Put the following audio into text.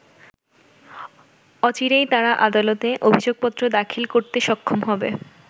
অচিরেই তারা আদালতে অভিযোগপত্র দাখিল করতে সক্ষম হবে।